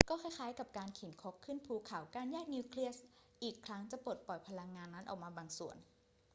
ก็คล้าย ๆ กับการเข็นครกขึ้นภูเขา การแยกนิวเคลียสอีกครั้งจะปลดปล่อยพลังงานนั้นออกมาบางส่วน